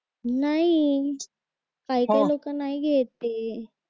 नाही काय काय लोक नाही घेत ते